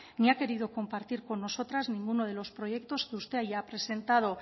ni ha querido compartir con nosotras ninguno de los proyectos que usted haya presentado